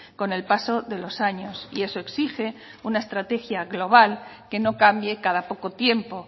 con el paso de los años y eso exige una estrategia global que no cambie cada poco tiempo